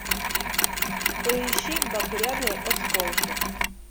поищи багряные осколки